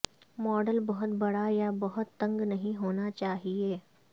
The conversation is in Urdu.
ماڈل بہت بڑا یا بہت تنگ نہیں ہونا چاہئے